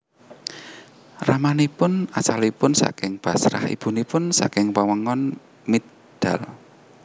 Ramanipun asalipun saking Bashrah ibunipun saking wewengkon Mijdal